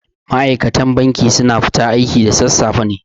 Ma'aikatan banki su na fita aiki da sassafe ne